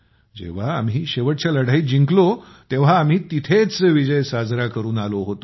जेव्हा आम्ही शेवटच्या लढाईत जिंकलो तेव्हाच आम्ही तेथेच विजय साजरा करून आलो होतो